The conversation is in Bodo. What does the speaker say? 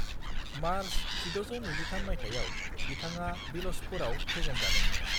मार्च 1623 मायथाइयाव बिथाङा बिल'चपुरआव फेजेनजादोंमोन।